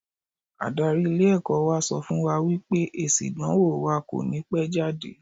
Adarí ilé ẹ̀kọ́ wa sọ fún wa wípé èsì ìdánwò wa kò ní pẹ́ jáde.